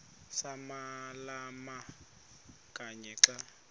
samalama kanye xa